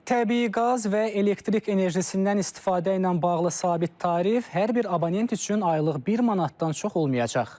Təbii qaz və elektrik enerjisindən istifadə ilə bağlı sabit tarif hər bir abonent üçün aylıq bir manatdan çox olmayacaq.